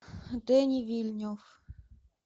дени вильнев